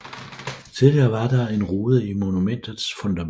Tidligere var der en rude i monumentets fundament